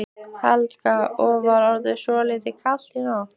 Helga: Og var ekki svolítið kalt í nótt?